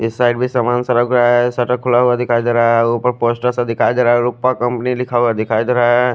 इस साइड भी सामान शटर खुला हुआ दिखाई देरा है उपर पोस्टर सा दिखाई देरा है उपर कम्पनी लिखा हुआ दिखाई देरा है।